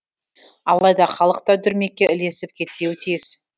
алайда халық та дүрмекке ілесіп кетпеуі тиіс